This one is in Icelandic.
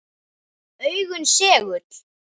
Augun segull.